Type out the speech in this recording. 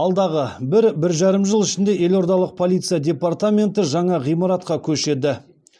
алдағы бір бір жарым жыл ішінде елордалық полиция департаменті жаңа ғимаратқа көшеді